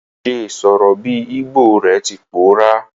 Ìse sọ̀rọ̀ bi Igbo re ti pòórá